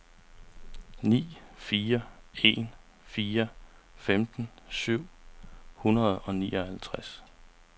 ni fire en fire femten syv hundrede og nioghalvtreds